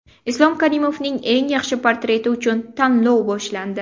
Islom Karimovning eng yaxshi portreti uchun tanlov boshlandi.